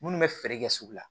Minnu bɛ feere kɛ sugu la